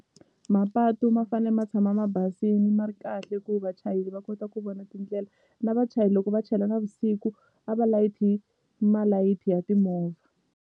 Mapatu ma fane ma tshama ma basini ma ri kahle ku vachayeli va kota ku vona tindlela na vachayeli loko va chela navusiku a va layithi malayithi ya timovha.